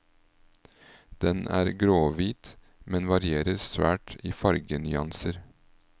Den er gråhvit, men varierer svært i fargenyanser.